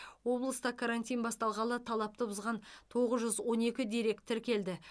облыста карантин басталғалы талапты бұзған тоғыз жүз он екі дерек тіркелді